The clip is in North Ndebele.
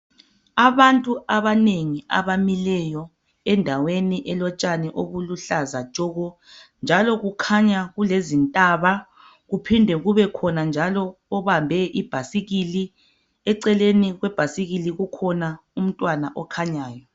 Abantu abanengi abamileyo endaweni elotshani obuluhlaza tshoko njalo kukhanya kulezintaba kuphinde kubekhonanjalo obambe ibhasikili eceleni kwebhasikili kukhona umntwana okhanyayo.